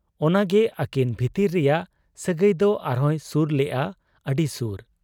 ᱚᱱᱟᱜᱮ ᱟᱹᱠᱤᱱ ᱵᱷᱤᱛᱤᱨ ᱨᱮᱭᱟᱜ ᱥᱟᱹᱜᱟᱹᱭ ᱫᱚ ᱟᱨᱦᱚᱸᱭ ᱥᱩᱨ ᱞᱮᱜ ᱟ, ᱟᱹᱰᱤ ᱥᱩᱨ ᱾